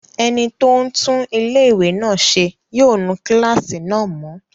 Ẹni tó ń tún ilé-ìwé náà ṣe yóò nu kílásì náà mọ́